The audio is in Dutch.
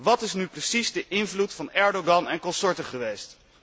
Wat is nu precies de invloed van Erdogan en consorten geweest?